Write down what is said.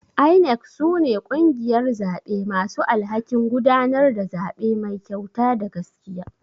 INEC sune kungiyar zaɓe masu alhakin gudanar da zaɓe Mai kyauta da gaskiya.